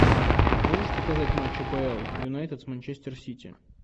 можешь показать матч апл юнайтед с манчестер сити